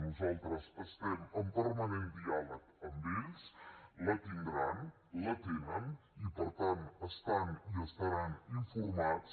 nosaltres estem en permanent diàleg amb ells la tindran la tenen i per tant estan i estaran informats